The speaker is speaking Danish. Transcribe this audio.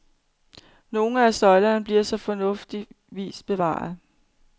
Nogle af søjlerne bliver så fornuftigvis bevaret.